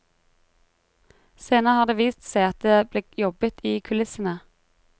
Senere har det vist seg at det ble jobbet i kulissene.